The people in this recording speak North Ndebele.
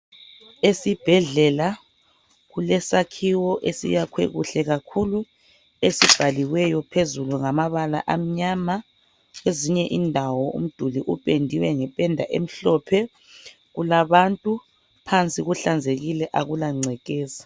Esibhedlela kulesakhiwo esiyakhwe kuhle kakhulu esibhaliweyo phezulu ngamabala amnyama. Kwezinye indawo umduli upendiwe ngependa emhlophe kulabantu phansi kuhlanzekile akula ngcekeza.